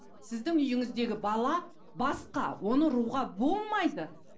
сіздің үйіңіздегі бала басқа оны ұруға болмайды